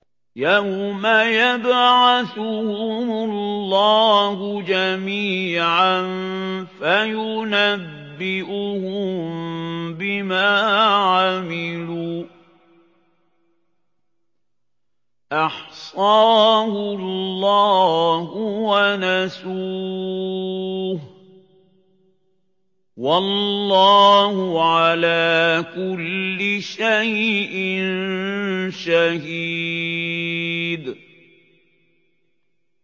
يَوْمَ يَبْعَثُهُمُ اللَّهُ جَمِيعًا فَيُنَبِّئُهُم بِمَا عَمِلُوا ۚ أَحْصَاهُ اللَّهُ وَنَسُوهُ ۚ وَاللَّهُ عَلَىٰ كُلِّ شَيْءٍ شَهِيدٌ